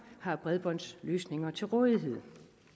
har bredbåndsløsninger til rådighed